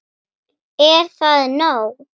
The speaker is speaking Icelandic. Er það nóg?